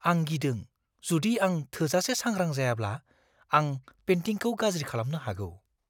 आं गिदों जुदि आं थोजासे सांग्रां जायाब्ला आं पेन्टिंखौ गाज्रि खालामनो हागौ।